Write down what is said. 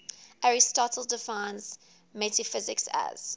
aristotle defines metaphysics as